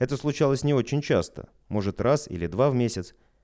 это случалось не очень часто может раз или два в месяц